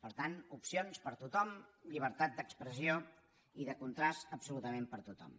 per tant opcions per a tothom llibertat d’expressió i de contrast absolutament per a tothom